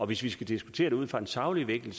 hvis vi skal diskutere det ud fra en saglig vinkel